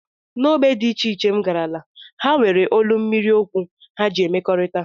N'ógbè dị iche iche, m garala, ha nwere olu mmiri okwu ha ji emekọrịta